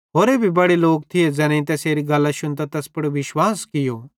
होरे भी बड़े लोक थिये ज़ैनेईं तैसेरी गल्लां शुन्तां तैस पुड़ विश्वास कियो